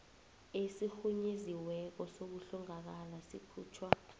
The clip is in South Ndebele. esirhunyeziweko sokuhlongakala sikhutjhwa